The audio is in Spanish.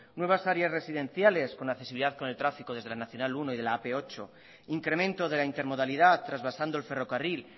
nuevas áreas residenciales con accesibilidad con el tráfico desde la nmenos uno y de la ap ocho incremento de la intermodalidad transvasando el ferrocarril